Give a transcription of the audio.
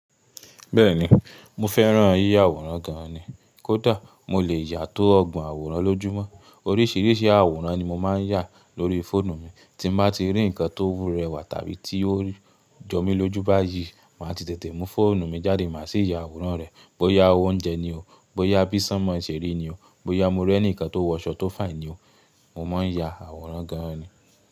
Bẹ́ẹ̀ni, mo fẹ́ràn yíya àwòrán gan an ni. Kódà mo lè yà tó ọgbọ̀n àwòrán lójúmọ́. Oríṣìíríṣìí àwòrán ni mo máa ń yà lórí fóònù mi. Tí n bá ti rí nǹkan tó wu rewà tàbí tí ó jomi lójú bá yí, màá ti tètè mú fóònù mi jáde máa sì yà àwòrán rẹ̀. Bóyá oúnjẹ ni o, bóyá bí sanmọ̀ ṣeri ni o, bóyá mo rí ẹnìkan tó wọṣọ tó fine ni o, mo máa ń ya àwòrán gan an ni.